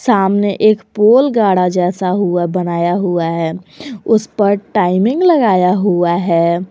सामने एक पोल गाड़ा जैसा हुआ बनाया हुआ है उस पर टाइमिंग लगाया हुआ है।